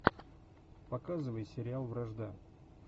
показывай сериал вражда